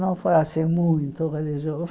Não foi assim muito religioso.